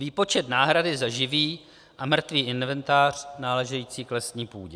Výpočet náhrady za živý a mrtvý inventář náležející k lesní půdě.